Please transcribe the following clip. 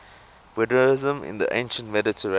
buddhism in the ancient mediterranean